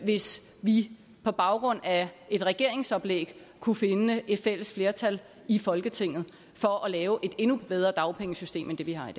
hvis vi på baggrund af et regeringsoplæg kunne finde et fælles flertal i folketinget for at lave et endnu bedre dagpengesystem end det vi har